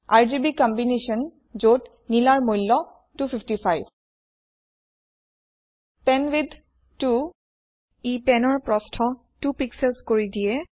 RGB combination যত নিলাৰ মূল্য 255 পেনৱিডথ 2ই penৰ প্ৰস্থ 2 পিক্সেলছ কৰি দিয়ে